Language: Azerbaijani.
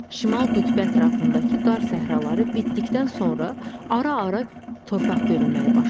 Şimal qütbü ətrafındakı qar səhraları bitdikdən sonra ara-ara torpaq görünməyə başlayır.